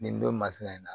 Nin don masina in na